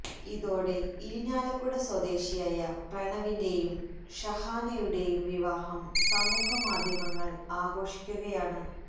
ഇതോടെ ഇരിങ്ങാലക്കുട സ്വദേശിയായ പ്രണവിന്റെയും ഷഹാനയുടെയും വിവാഹം സമൂഹ മാധ്യമങ്ങൾ ആഘോഷിക്കുകയാണ്